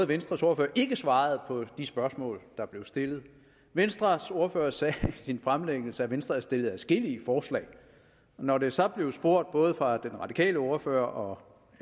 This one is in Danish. venstres ordfører ikke svarede på de spørgsmål der blev stillet venstres ordfører sagde i sin fremlæggelse at venstre havde stillet adskillige forslag og når der så blev spurgt både fra den radikale ordfører